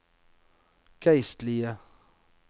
geistlige